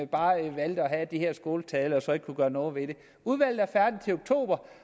bare valgte at have de her skåltaler og så ikke kunne gøre noget ved det udvalget er færdigt til oktober